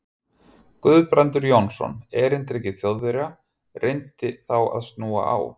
Guðbrandur Jónsson, erindreki Þjóðverja, reyndi þá að snúa á